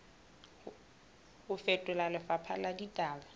ho fetola lefapha la ditaba